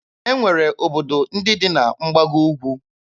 E nwere obodo ndị dị na mgbago Ugwu.